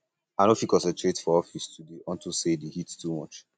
i no fit um concentrate for office today unto um say um the heat too much